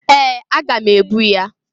Ee! Aga m ebu ya.